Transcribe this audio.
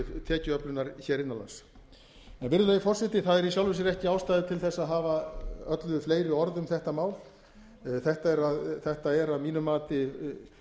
tekjuöflunar hér innan lands virðulegi forseti það er í sjálfu sér ekki ástæða til þess að hafa öllu fleiri orð um þetta mál þetta er að mínu mati